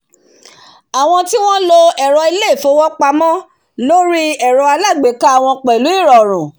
àwọn tí wọ́n lo ẹ̀rọ ilé- ìfowópamọ́ lórí ẹ̀rọ alágbéká wọn pẹ̀lú ìrọ̀rùn